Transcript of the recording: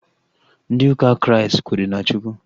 Ndị ụka Kraịst kwenyere na Chukwu